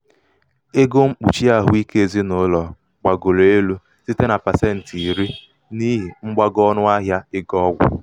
ego mkpùchì ahụike ezinàụlọ̀ gbàgòrò elū site na pàsentì iri n’ihì mgbago ọnụahịa ego ọgwụ̀